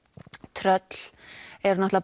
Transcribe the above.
tröll eru